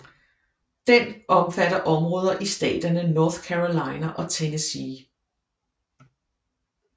Den omfatter områder i staterne North Carolina og Tennessee